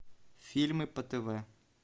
фильмы по тв